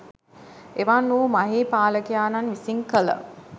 එවන් වූ මහී පාලකයාණන් විසින් කළ